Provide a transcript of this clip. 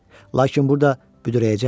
Lakin burda büdrəyəcəkdi.